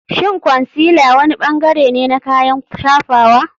Shin concealer wani bangare ne na kayan shafawa?